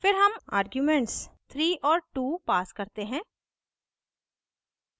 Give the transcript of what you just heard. फिर हम आर्ग्यूमेंट्स 3 और 2 pass करते हैं